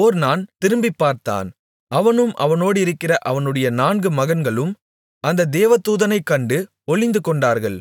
ஒர்னான் திரும்பிப் பார்த்தான் அவனும் அவனோடிருக்கிற அவனுடைய நான்கு மகன்களும் அந்த தேவதூதனைக் கண்டு ஒளிந்துகொண்டார்கள்